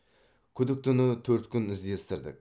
күдіктіні төрт күн іздестірдік